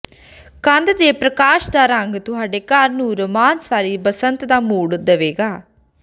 ਕੰਧ ਦੇ ਪ੍ਰਕਾਸ਼ ਦਾ ਰੰਗ ਤੁਹਾਡੇ ਘਰ ਨੂੰ ਰੋਮਾਂਸ ਵਾਲੀ ਬਸੰਤ ਦਾ ਮੂਡ ਦੇਵੇਗਾ